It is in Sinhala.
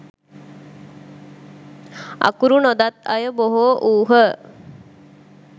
අකුරු නොදත් අය බොහෝ වූහ.